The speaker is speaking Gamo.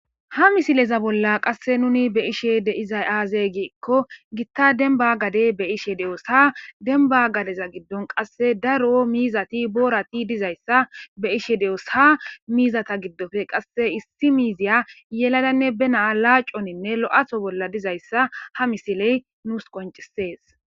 Ha missileza bolla qasse nuni beishe deizzay aaze giiko giita dummba gadde beishe de'os ha dembba gaddeza giddon daaro miizati boorati diizayssa beishe doos ha miizata giddope qasse issi miiziya yelladanne be na'a laacconine lo'atho bolla diizayssa ha missiley nus qonccises.